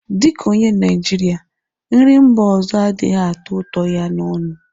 Dị ka onye Naịjirịa, nri mba ọzọ adịghị atọ ụtọ ya n'ọnụ